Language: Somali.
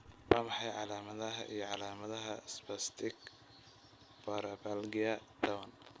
Waa maxay calaamadaha iyo calaamadaha Spastic paraplegia tawan?